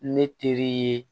Ne teri ye